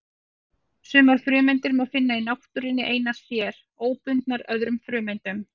Sumar frumeindir má finna í náttúrunni einar sér, óbundnar öðrum frumeindum.